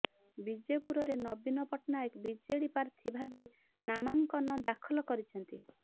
ବିଜେପୁରରେ ନବୀନ ପଟ୍ଟନାୟକ ବିଜେଡି ପ୍ରାର୍ଥୀ ଭାବେ ନାମାଙ୍କନ ଦାଖଲ କରିଛନ୍ତି